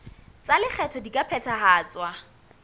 tsa lekgetho di ka phethahatswa